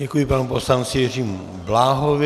Děkuji panu poslanci Jiřímu Bláhovi.